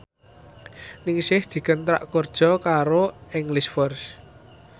Ningsih dikontrak kerja karo English First